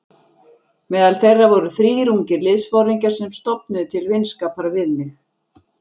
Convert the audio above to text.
Meðal þeirra voru þrír ungir liðsforingjar sem stofnuðu til vinskapar við mig.